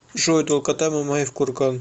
джой долгота мамаев курган